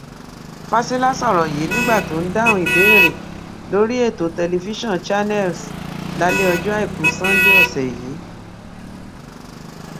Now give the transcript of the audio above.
fásilà sọrọ yìí nígbà tó ń dáhùn ìbéèrè lórí ètò tẹlifíṣàn channels lálẹ ọjọ àìkú sannde ọsẹ yìí